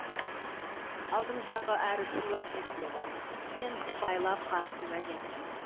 алдымыздағы әрі сыйлас жігіт еді мен сыпайылап қарсы уәж айттым